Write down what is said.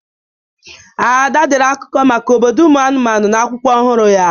Ada dere akụkọ maka obodo ụmụ anụmanụ n'akwụkwọ ọhụrụ ya.